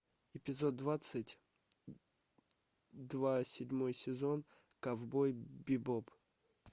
эпизод двадцать два седьмой сезон ковбой бибоп